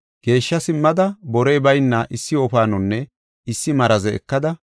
Geeshsha simmada borey bayna issi wofaanonne issi maraze ekada,